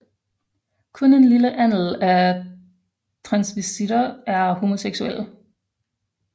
Kun en lille andel af transvestitter er homoseksuelle